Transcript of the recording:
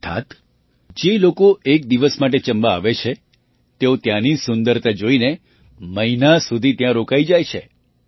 અર્થાત્ જે લોકો એક દિવસ માટે ચંબા આવે છે તેઓ ત્યાંની સુંદરતા જોઈને મહિના સુધી ત્યાં રોકાઈ જાય છે